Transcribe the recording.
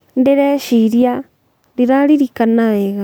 ndĩreciria ,ndiraririkana wega